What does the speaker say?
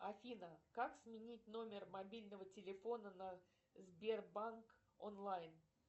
афина как сменить номер мобильного телефона на сбербанк онлайн